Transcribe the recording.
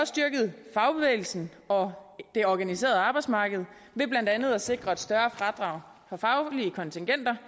styrket fagbevægelsen og det organiserede arbejdsmarked ved blandt andet at sikre et større fradrag for faglige kontingenter